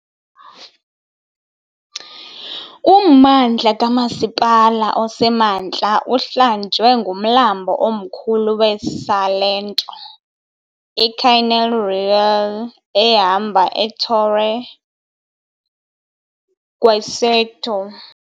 Ummandla kamasipala osemantla uhlanjwe ngumlambo omkhulu weSalento, iCanale Reale, ehamba eTorre Guaceto.